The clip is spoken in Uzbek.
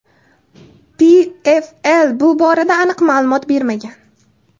PFL bu borada aniq ma’lumot bermagan.